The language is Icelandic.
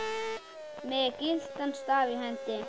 með gyltan staf í hendi.